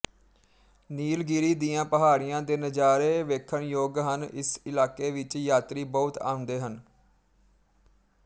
ਨੀਲਗਿਰੀ ਦੀਆਂ ਪਹਾੜੀਆਂ ਦੇ ਨਜ਼ਾਰੇ ਵੇਖਣਯੋਗ ਹਨ ਇਸ ਇਲਾਕੇ ਵਿੱਚ ਯਾਤਰੀ ਬਹੁਤ ਆਂਉਂਦੇ ਹਨ